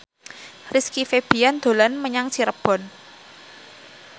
Rizky Febian dolan menyang Cirebon